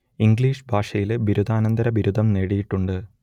English ഭാഷയിൽ ബിരുദാനന്തര ബിരുദം നേടിയിട്ടുണ്ട്